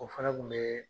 O fana kun bɛ